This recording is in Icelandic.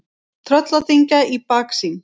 Trölladyngja í baksýn.